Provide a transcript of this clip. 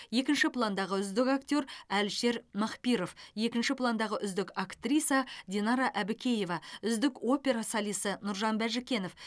екінші пландағы үздік актер әлішер махпиров екінші пландағы үздік актриса динара әбікеева үздік опера солисі нұржан бәжікенов